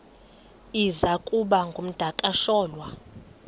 iza kuba ngumdakasholwana